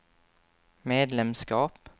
medlemskap